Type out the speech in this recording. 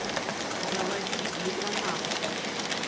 заводи глюконавты